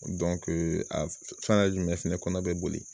a fɛngɛ jumɛn fɛnɛ kɔnɔ bɛ boli